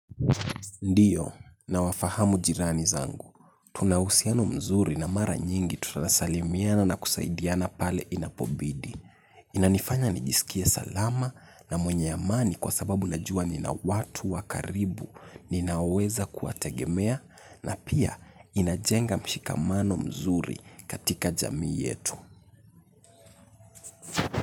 Ndiyo, nawafahamu jirani zangu. Tuna uhusiano mzuri na mara nyingi tutanasalimiana na kusaidiana pale inapobidi. Inanifanya nijisikie salama na mwenye amani kwa sababu najua nina watu wakaribu ninaweza kuwategemea na pia inajenga mshikamano mzuri katika jamii yetu.